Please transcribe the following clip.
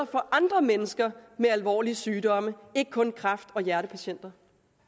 for andre mennesker med alvorlige sygdomme og ikke kun kræft og hjertepatienter